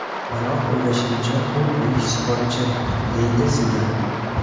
Biroq o‘ylashimcha, u buyuk sportchi”, deydi Sigal.